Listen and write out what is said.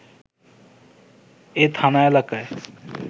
এ থানা এলাকায়